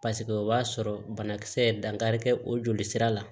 Paseke o b'a sɔrɔ banakisɛ ye dankari kɛ o joli sira la